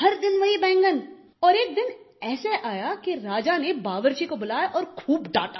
हर दिन वही बैगन और एक दिन ऐसा आया कि राजा ने बावर्ची को बुलाया और खूब डांटा